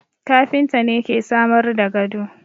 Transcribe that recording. Kafinta ne ke samar da gado